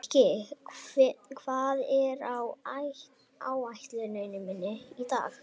Mikki, hvað er á áætluninni minni í dag?